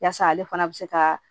Yaasa ale fana bɛ se ka